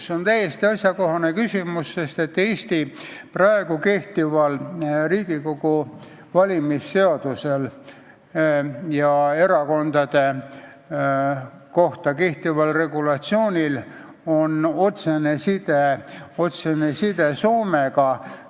See on täiesti asjakohane küsimus, sest Eesti praegusel Riigikogu valimise seadusel ja erakondade kohta kehtival regulatsioonil on otsene side Soome regulatsiooniga.